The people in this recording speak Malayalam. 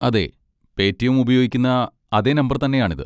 അതെ, പേറ്റിഎം ഉപയോഗിക്കുന്ന അതേ നമ്പർ തന്നെയാണിത്.